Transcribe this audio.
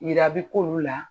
Yira bɛ k' oolu la